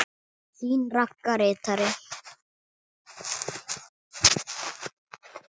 Þín Ragga ritari.